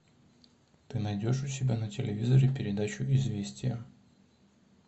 ты найдешь у себя на телевизоре передачу известия